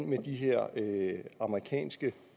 med de her amerikanske